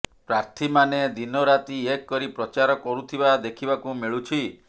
ପ୍ରାର୍ଥୀମାନେ ଦିନରାତି ଏକ କରି ପ୍ରଚାର କରୁଥିବା ଦେଖିବାକୁ ମିଳୁଛି